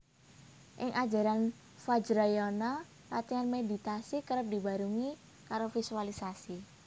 Ing ajaran Vajrayana latihan meditasi kerep dibarengi karo visualisasi